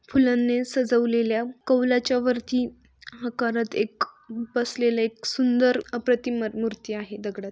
फुलांने सजवलेल्या कवलाच्या वरती आकारात एक बसलेल एक सुंदर अप्रतिम मर मूर्ती आहे दगडात.